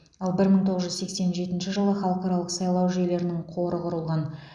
ал бір мың тоғыз жүз сексен жетінші жылы халықаралық сайлау жүйелерінің қоры құрылған